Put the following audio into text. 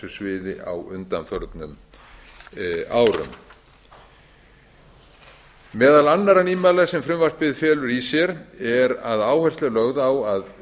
sviði á undanförnum árum meðal annarra nýmæla sem frumvarpið felur í sér er að áhersla er lögð á að